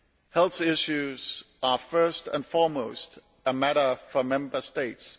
Health issues are first and foremost a matter for Member States.